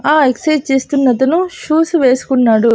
ఆ ఎక్సైస్ చేస్తున్న అతను షూసు వేసుకున్నాడు.